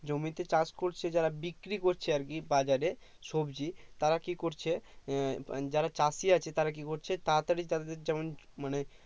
জমিতে চাষ করছে যারা বিক্রি করছে আরকি বাজারে সবজি তারা কি করছে আহ যারা চাষি আছে তারা কি করছে তারা তারই তাদের যেমন মানে